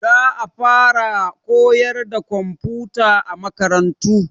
Za a faraa koyarwa da komfuta a makarantu.